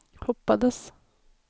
hoppades